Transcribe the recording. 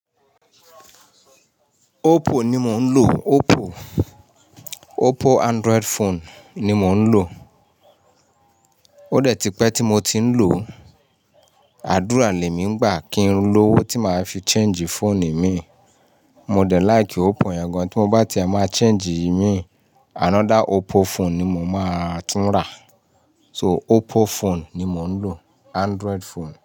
Oppo ni mo ń lò, Oppo. Oppo Android phone ni mo ń lò. Ó dẹ̀ ti pẹ́ tí mo ti ń lò ó, àdúrà lè mí ń gbà kí ń lọ́ owó tí màá fi change phone mi. Mo dẹ̀ like Oppo yan gan, tí mo bá ti a máa change ìí mi, another Oppo phone ni mo máa tún rà. So Oppo phone ni mò ń lò, Android phone.